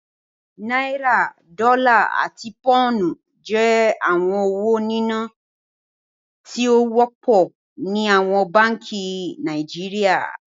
Naira, Dọla, àti Pounu jẹ̀ awọn owó níná tío wọpọ ni awọn bánkì Nàìjíríà.